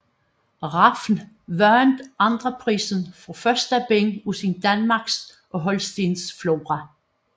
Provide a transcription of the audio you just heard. Rafn vandt andenprisen for første bind af sin Danmarks og Holsteens Flora